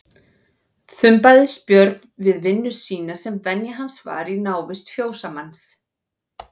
Þumbaðist Björn við vinnu sína sem venja hans var í návist fjósamanns.